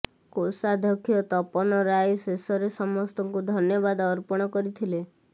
କୋଷାଧ୍ୟକ୍ଷ ତପନ ରାୟ ଶେଷରେ ସମସ୍ତଙ୍କୁ ଧନ୍ୟବାଦ ଅର୍ପଣ କରିଥିଲେ